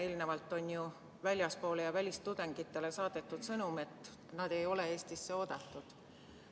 Eelnevalt on ju väljapoole ja välistudengitele saadetud sõnum, et nad ei ole Eestisse oodatud.